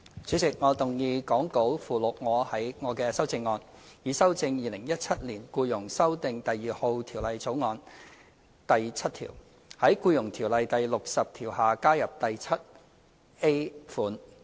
主席，我動議講稿附錄我的修正案，以修正《2017年僱傭條例草案》第7條，在《僱傭條例》第60條下加入第款。